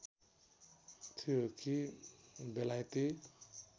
थियो कि बेलायती